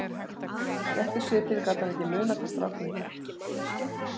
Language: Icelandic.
Rétt í svipinn gat hann ekki munað hvað strákurinn hét.